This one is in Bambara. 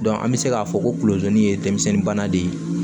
an bɛ se k'a fɔ kolotanin ye denmisɛnnin de ye